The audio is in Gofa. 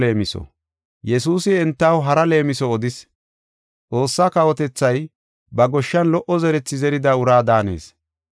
Yesuusi entaw hara leemiso odis, “Xoossaa kawotethay ba goshshan lo77o zerethi zerida uraa daanees.